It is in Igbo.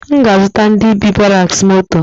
M ga azụta ndi bi ‘baraks moto